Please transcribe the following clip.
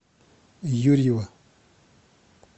юрьева